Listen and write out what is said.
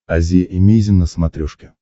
азия эмейзин на смотрешке